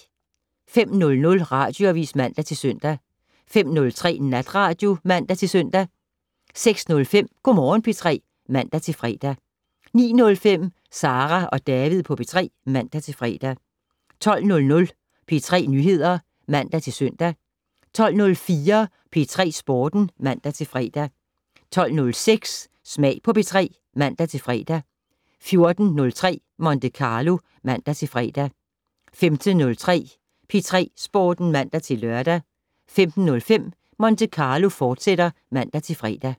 05:00: Radioavis (man-søn) 05:03: Natradio (man-søn) 06:05: Go' Morgen P3 (man-fre) 09:05: Sara og David på P3 (man-fre) 12:00: P3 Nyheder (man-søn) 12:04: P3 Sporten (man-fre) 12:06: Smag på P3 (man-fre) 14:03: Monte Carlo (man-fre) 15:03: P3 Sporten (man-lør) 15:05: Monte Carlo, fortsat (man-fre)